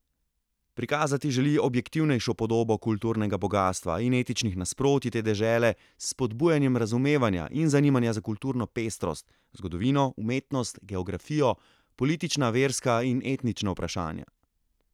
Prikazati želi objektivnejšo podobo kulturnega bogastva in etničnih nasprotij te dežele s spodbujanjem razumevanja in zanimanja za kulturno pestrost, zgodovino, umetnost, geografijo, politična, verska in etnična vprašanja.